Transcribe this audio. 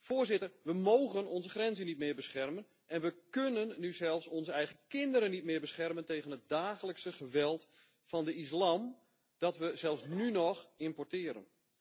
Voorzitter, we mogen onze grenzen niet meer beschermen en we kunnen nu zelfs onze eigen kinderen niet meer beschermen tegen het dagelijkse geweld van de islam, dat we zelfs nu nog importeren.